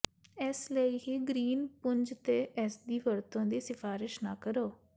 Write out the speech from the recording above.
ਇਸ ਲਈ ਹੀ ਗ੍ਰੀਨ ਪੁੰਜ ਤੇ ਇਸਦੀ ਵਰਤੋਂ ਦੀ ਸਿਫ਼ਾਰਿਸ਼ ਨਾ ਕਰੋ